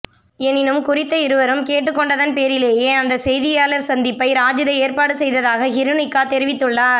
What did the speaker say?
எனினும் குறித்த இருவரும் கேட்டுக்கொண்டதன் பேரிலேயே அந்த செய்தியாளர் சந்திப்பை ராஜித ஏற்பாடு செய்ததாக ஹிருனிக்கா தெரிவித்துள்ளார்